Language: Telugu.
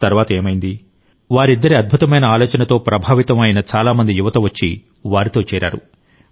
తర్వాత ఏమైంది వారిద్దరి అద్భుతమైన ఆలోచనతో ప్రభావితం అయిన చాలా మంది యువత వచ్చి వారితో చేరారు